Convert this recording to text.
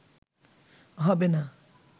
হবে না